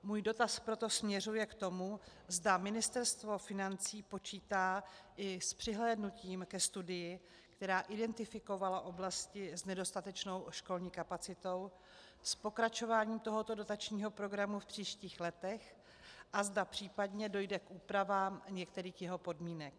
Můj dotaz proto směřuje k tomu, zda Ministerstvo financí počítá i s přihlédnutím ke studii, která identifikovala oblasti s nedostatečnou školní kapacitou, s pokračováním tohoto dotačního programu v příštích letech a zda případně dojde k úpravám některých jeho podmínek.